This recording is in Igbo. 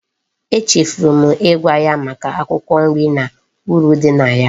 E chefuru m igwa ya Maka akwukwo nri na uru di na ya